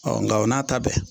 nka o n'a ta bɛɛ